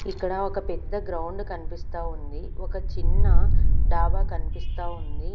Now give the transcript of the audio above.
ఇక్కడ ఒక పెద్ద గ్రౌండ్ కనిపిస్తా ఉంది ఒక చిన్న డాబా కనిపిస్తా ఉంది.